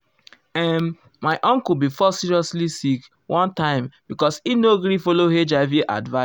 ehn my uncle fall seriously sick one time because e no gree follow hiv advice.